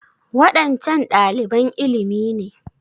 Waɗancan ɗaliban ilimi ne?